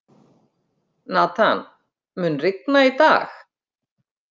Nathan, mun rigna í dag?